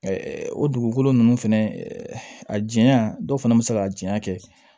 o dugukolo ninnu fɛnɛ ɛɛ a janya dɔw fana be se ka janya kɛ